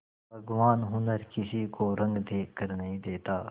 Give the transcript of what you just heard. भगवान हुनर किसी को रंग देखकर नहीं देता